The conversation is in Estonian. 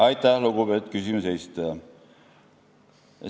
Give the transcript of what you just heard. Aitäh, lugupeetud küsimuse esitaja!